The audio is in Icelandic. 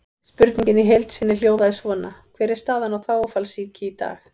Spurningin í heild sinni hljóðaði svona: Hver er staðan á þágufallssýki í dag?